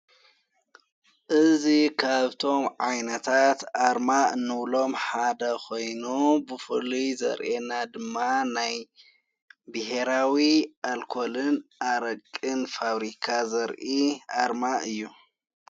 እዙ ኻብቶም ዓይነታት ኣርማ እኖብሎም ሓደ ኾይኑ ብፉልይ ዘርኤና ድማ ናይ ብሄራዊ ኣልኮልን ኣረቅን ፋብሪካ ዘርኢ ኣርማ እዩ።